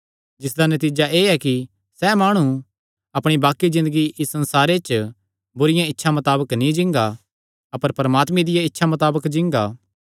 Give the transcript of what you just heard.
जिसदा नतीजा एह़ ऐ कि सैह़ माणु अपणी बाक्कि ज़िन्दगी इस संसारे च बुरिआं इच्छां मताबक नीं जींगा अपर परमात्मे दिया इच्छा मातबक जींगा